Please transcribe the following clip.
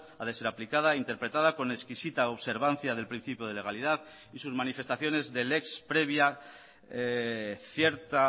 ha de ser aplicada interpretada con exquisita observancia del principio de legalidad y sus manifestaciones de lex previa cierta